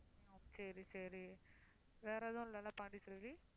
சரி சரி வேற எதுவும் இல்லல்ல பாண்டிச்செல்வி.